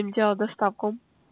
сделать доставку